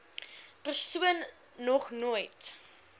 persoon nog nooit